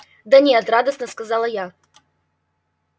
да нет радостно сказала я